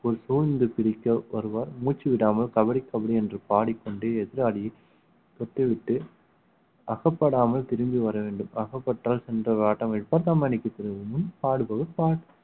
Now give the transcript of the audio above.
சூழ்ந்து பிரிக்க வருவார் மூச்சு விடாமல் கபடி கபடி என்று பாடிக்கொண்டு எதிராளியை தொட்டுவிட்டு அகப்படாமல் திரும்பி வர வேண்டும் அகப்பட்டால் சென்ற